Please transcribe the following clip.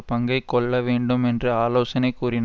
பங்கை கொள்ளவேண்டும் என்றும் ஆலோசனை கூறினார்